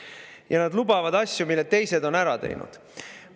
Ja nad lubavad asju, mille teised on ära teinud.